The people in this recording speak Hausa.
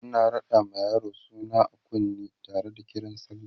ana raɗa ma yaro suna a kunne Tara da Kiran sallah